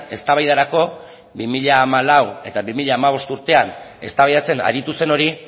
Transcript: eztabaidarako bi mila hamalau eta bi mila hamabost urtean eztabaidatzen aritu zen hori